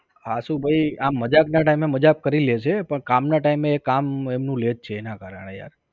આશુભાઈ આમ મજાક ના time એ મજાક કરી લેશે પણ કામ ના time એ કામ એમનું લે છે એનાં કારણ એ